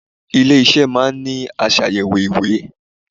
Ilé iṣẹ́ ìtẹ̀wẹ́ máa ń ní aṣàyẹ̀wò ìwé.